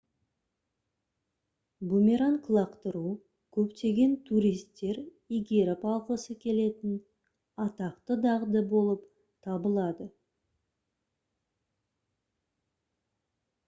бумеранг лақтыру көптеген туристер игеріп алғысы келетін атақты дағды болып табылады